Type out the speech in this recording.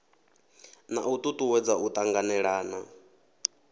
na u tutuwedza u tanganelana